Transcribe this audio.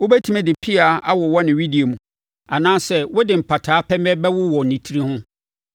Wobɛtumi de mpea awowɔ ne wedeɛ mu anaasɛ wode mpataa pɛmɛ bɛwowɔ ne tiri ho?